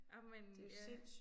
Ej men ja